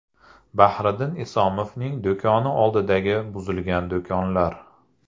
Bahriddin Isomovning do‘koni oldidagi buzilgan do‘konlar.